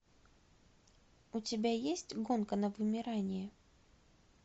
у тебя есть гонка на вымирание